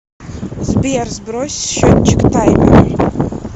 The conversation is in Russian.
сбер сбрось счетчик таймера